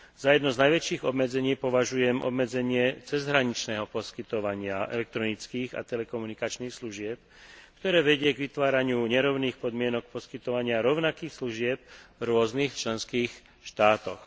Za jedno z najväčších obmedzení považujem obmedzenie cezhraničného poskytovania elektronických a telekomunikačných služieb, ktoré vedie k vytváraniu nerovných podmienok poskytovania rovnakých služieb v rôznych členských štátoch.